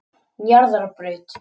Njarðarbraut